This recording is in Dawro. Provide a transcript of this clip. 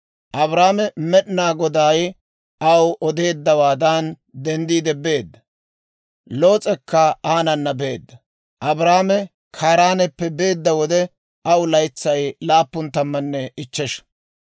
Abraame Med'inaa Goday aw odeeddawaadan denddiide beedda; Loos'ekka aanana beedda; Abraame Kaaraaneppe beedda wode, aw laytsay laappun tammanne ichchesha.